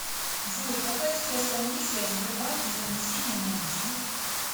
джой какая сейчас комиссия в сбербанке за внесение наличных